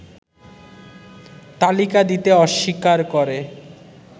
তালিকা দিতে অস্বীকার করে